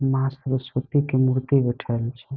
माँ सरस्वती के मूर्ति बैठल छे।